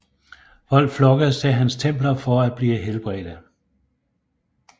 Folk flokkedes til hans templer for at blive helbredte